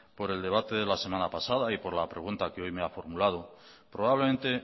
por el debate de la semana pasada y por la pregunta que hoy me ha formulado probablemente